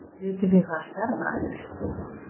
Vitið þið hvaða stjarna þetta er